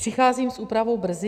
Přicházím s úpravou brzy?